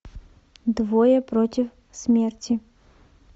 двое против смерти